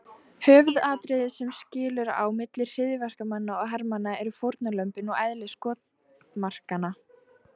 Höfuðatriðið sem skilur á milli hryðjuverkamanna og hermanna eru fórnarlömbin og eðli skotmarkanna.